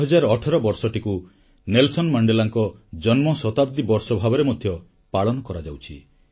2018 ବର୍ଷଟିକୁ ନେଲସନ୍ ମଣ୍ଡେଲାଙ୍କ ଜନ୍ମଶତାବ୍ଦୀ ବର୍ଷଭାବରେ ମଧ୍ୟ ପାଳନ କରାଯାଉଛି